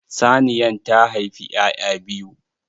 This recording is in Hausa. Saniyan ta haifi 'ya'ya biyu.